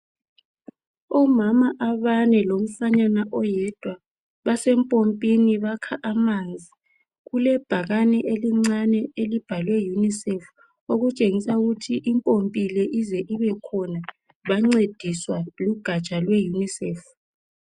Umama abane lomfanyana oyedwa base mpompini bakha amanzi. Kulebhakane elincane elibhalwe Unicef okutshengisa ukuthi impompi le ize ibekhona bancediswa lugatsha lwe Unicef.